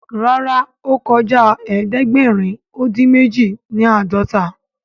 Ràrá o kọjá ẹdẹgbẹrin odin méjì ni ãdọta